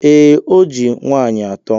Ee, o ji nwaanyị atọ.